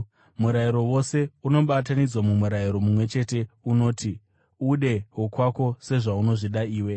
Murayiro wose unobatanidzwa mumurayiro mumwe chete unoti: “Ude wokwako sezvaunozvida iwe.”